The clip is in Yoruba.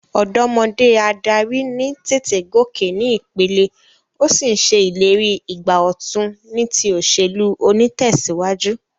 Òdómodé adarí ní tètè gòkè ní ìpele, o sí n se ìlérí ìgbà òtun ní ti òsèlú onítèsíwájú